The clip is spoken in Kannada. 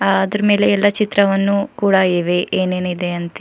ಅದರ ಮೇಲೆ ಎಲ್ಲ ಚಿತ್ರವನ್ನು ಕೂಡ ಇವೆ ಏನೇನಿದೆ ಅಂತೆ --